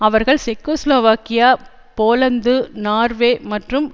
அவர்கள் Czechoslovakia Poland Norway மற்றும்